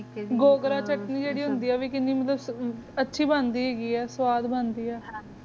ਚਟਨੀ ਵੀ ਕੀਨੀ ਮਤ੍ਲਮ ਅਚੀ ਬੰਦੀ ਹੈ ਗੀ ਆ ਸ੍ਵਾਦ ਬੰਦੀ ਆ